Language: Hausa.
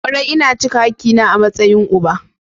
Kwarai, ina cika hakina a matsayin uba.